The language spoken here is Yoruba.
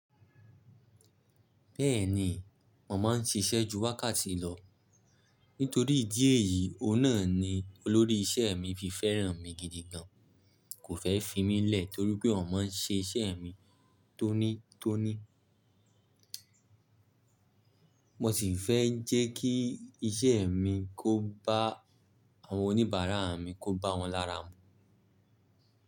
Bẹ́ẹ̀ni, mo máa ń ṣiṣẹ́ ju wákàtí lọ. Nítorí ìdí èyí, òun náà ni olórí isẹ́ mi fi fẹ́ràn mi gidi gan. Kò fẹ́ fi mí lẹ̀ torí pé òun máa ń ṣe isẹ́ mi tónítóní. Mo ṣì fẹ́ jẹ́ kí iṣẹ́ mi kó bá àwọn oníbàárà mi, kó bá wọn lára mu.